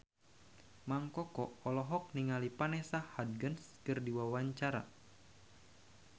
Mang Koko olohok ningali Vanessa Hudgens keur diwawancara